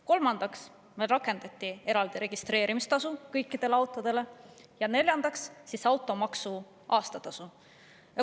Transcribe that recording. Kolmandaks rakendati eraldi registreerimistasu kõikidele autodele ja neljandaks on automaksu aastatasu.